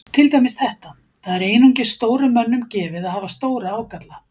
Til dæmis þetta: Það er einungis stórum mönnum gefið að hafa stóra ágalla.